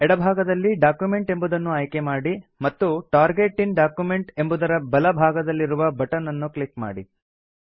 ಎಡ ಭಾಗದಲ್ಲಿ ಡಾಕ್ಯುಮೆಂಟ್ ಎಂಬುದನ್ನು ಆಯ್ಕೆ ಮಾಡಿ ಮತ್ತು ಟಾರ್ಗೆಟ್ ಇನ್ ಡಾಕ್ಯುಮೆಂಟ್ ಎಂಬುದರ ಬಲ ಭಾಗದಲ್ಲಿರುವ ಬಟನ್ ಅನ್ನು ಕ್ಲಿಕ್ ಮಾಡಿ